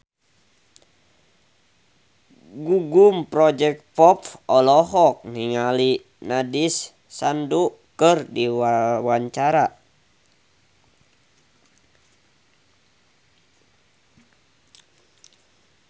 Gugum Project Pop olohok ningali Nandish Sandhu keur diwawancara